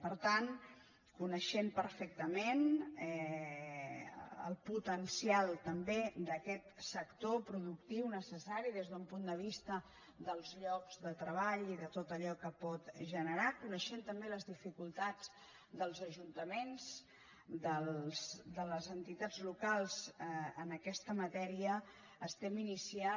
per tant coneixent perfectament el potencial també d’aquest sector productiu necessari des d’un punt de vista dels llocs de treball i de tot allò que pot generar coneixent també les dificultats dels ajuntaments de les entitats locals en aquesta matèria estem iniciant